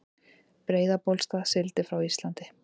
Breiðabólsstað, sigldi frá Íslandi.